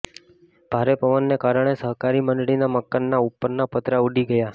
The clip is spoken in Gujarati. ભારે પવન ને કારણે સહકારી મંડળીના મકાનના ઉપરના પતરા ઉડી ગયા